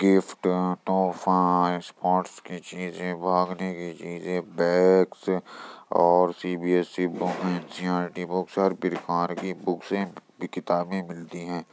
Gift तोहफा sports की चीजें भागने की चीजें बैग्स और सी.बी.एस.ई. Book NCERT. बुक्स हर पिरकार की बुक्से किताबें मिलती हैं।